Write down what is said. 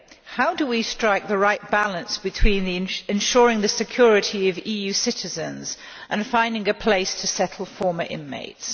How do we strike the right balance between ensuring the security of EU citizens and finding a place to settle former inmates?